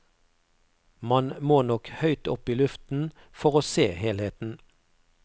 Man må nok høyt opp i luften for å se helheten.